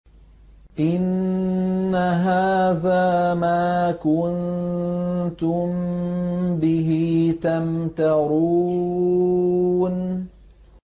إِنَّ هَٰذَا مَا كُنتُم بِهِ تَمْتَرُونَ